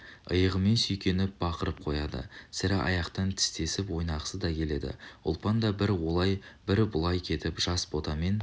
иығымен сүйкеніп бақырып қояды сірә аяқтан тістесіп ойнағысы да келеді ұлпан да бір олай бір бұлай кетіп жас ботамен